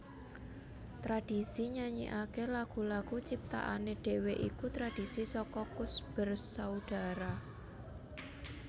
Tradhisi nyanyikaké lagu lagu ciptaané dhewé iku tradhisi saka Koes Bersaudara